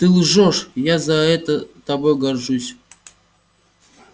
ты лжёшь я за это тобой горжусь